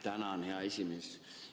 Tänan, hea esimees!